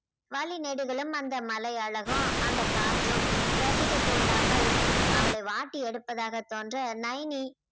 வழி நெடுகிலும் அந்த மலை அழகும் அந்த காற்றும் ரசிக்கத்தூண்டாமல் அவளை வாட்டி எடுப்பதாக தோண்ற நயனி